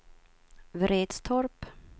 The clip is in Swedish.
Vretstorp